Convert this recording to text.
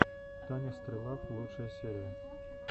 таня стрелав лучшая серия